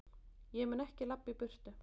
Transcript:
Ég mun ekki labba í burtu.